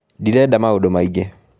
Ndirenda maũndũ maingĩ